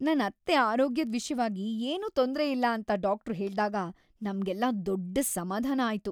ನನ್ ಅತ್ತೆ ಆರೋಗ್ಯದ್‌ ವಿಷ್ಯವಾಗಿ ಏನೂ ತೊಂದ್ರೆಯಿಲ್ಲ ಅಂತ ಡಾಕ್ಟ್ರು ಹೇಳ್ದಾಗ ನಮ್ಗೆಲ್ಲ ದೊಡ್ಡ್ ಸಮಾಧಾನ ಆಯ್ತು.